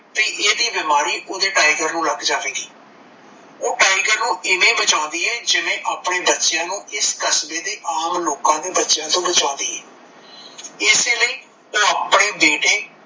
ਕੀ ਇਦੀ ਬਿਮਾਰੀ ਉਦੇ ਟਾਈਗਰ ਨੂੰ ਲੱਗ ਜਾਵੇਗੀ ਓਹ ਟਾਈਗਰ ਨੂੰ ਏਵੈ ਬਚਾਉਂਦੀ ਏ ਜਿਵੇਂ ਆਪਣੇ ਬੱਚਿਆ ਨੂੰ ਇਸ ਕਸਬੇ ਦੇ ਆਮ ਬੱਚਿਆ ਤੋਂ ਬਚਾਉਂਦੀ ਏ ਇਸੇ ਲਈ ਓਹ ਆਪਣੇ ਬੇਟੇ